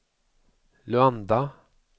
Luanda